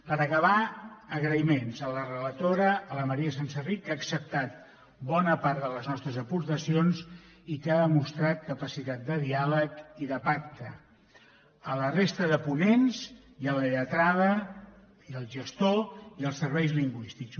per acabar agraïments a la relatora a la maria senserrich que ha acceptat bona part de les nostres aportacions i que ha demostrat capacitat de diàleg i de pacte a la resta de ponents i a la lletrada i al gestor i als serveis lingüístics